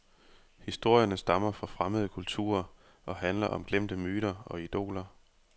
Historierne stammer fra fremmede kulturer og handler om glemte myter og idoler.